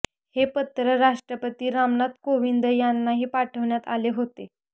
हे पत्र राष्ट्रपती रामनाथ कोविंद यांनाही पाठवण्यात आले होते